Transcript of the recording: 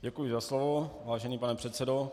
Děkuji za slovo, vážený pane předsedo.